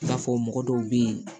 I n'a fɔ mɔgɔ dɔw bɛ yen